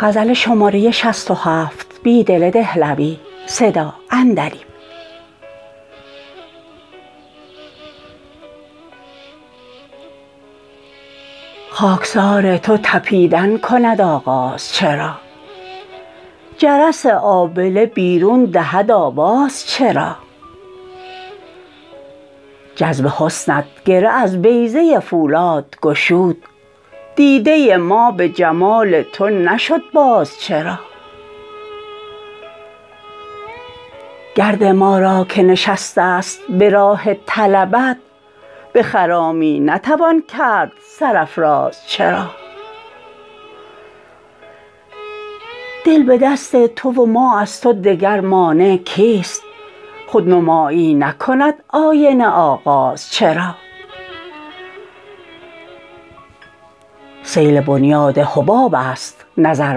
خاکسار تو تپیدن کند آغاز چرا جرس آبله بیرون دهد آواز چرا جذب حسنت گره از بیضه فولادگشود دیده ما به جمال تو نشد باز چرا گرد ما راکه نشسته ست به راه طلبت به خرامی نتوان کرد سرافراز چرا دل به دست تو وما ازتو دگر مانع کیست خودنمایی نکند آینه آغاز چرا سیل بنیاد حباب ست نظر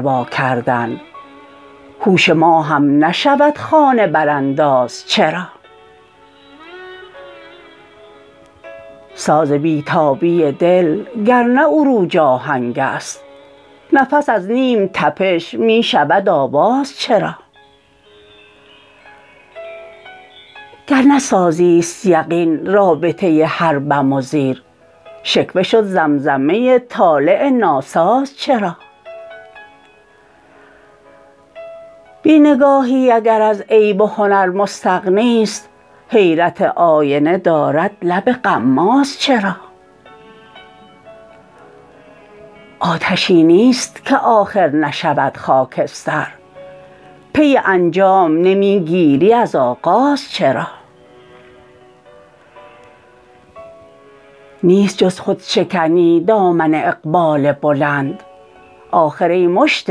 واکردن هوش ما هم نشود خانه برانداز چرا ساز بیتابی دل گرنه عروج آهنگ است نفس از نیم تپش می شود آواز چرا گرنه سازی ست یقین رابطه هر بم وزیر شکوه شد زمزمه طالع ناساز چرا بی نگاهی اگر از عیب و هنر مستغنی ست حیرت آینه دارد لب غماز چرا آتشی نیست که آخر نشود خاکستر پی انجام نمی گیری از آغاز چرا نیست جز خودشکنی دامن اقبال بلند آخر ای مشت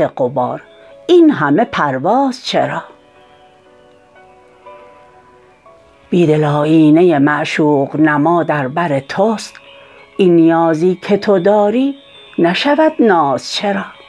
غبار این همه پرواز چرا بیدل آیینه معشوق نما در بر تست این نیازی که تو داری نشود ناز چرا